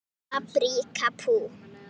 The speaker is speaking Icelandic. Sleppt hveiti, sykri, smjöri.